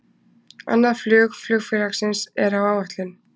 Annað flug flugfélagsins er á áætlun